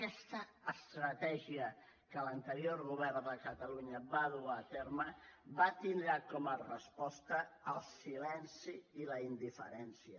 aquesta estratègia que l’anterior govern de catalunya va dur a terme va tindre com a resposta el silenci i la indiferència